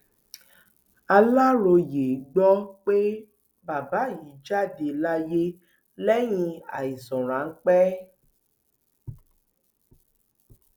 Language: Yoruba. aláròyé gbọ pé bàbá yìí jáde láyé lẹyìn àìsàn ráńpẹ